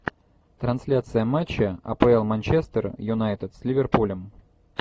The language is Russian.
трансляция матча апл манчестер юнайтед с ливерпулем